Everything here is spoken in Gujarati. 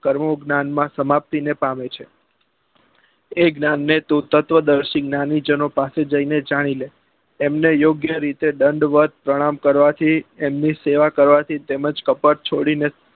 કર્મો જ્ઞાન માં સમાપ્તિ ને પામે છે એ જ્ઞાન ને તું તત્વદર્શી જ્ઞાની જનો પાસે જી ને જાની લે એમને યોગ્ય રીતે દંડવત પ્રણામ કરવા થી એમની સેવા કરવા થી તેમજ કપટ છોડી ને